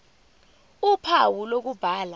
ph uphawu lokubhala